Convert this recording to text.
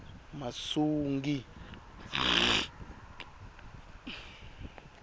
masungi